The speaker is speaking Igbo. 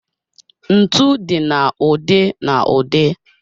Ntu dị na ụdị na ụdị.